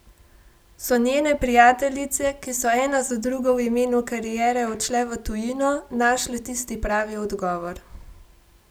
So njene prijateljice, ki so ena za drugo v imenu kariere odšle v tujino, našle tisti pravi odgovor?